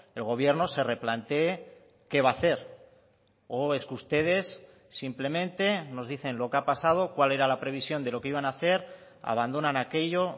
el gobierno se replanteé qué va a hacer o es que ustedes simplemente nos dicen lo que ha pasado cuál era la previsión de lo que iban a hacer abandonan aquello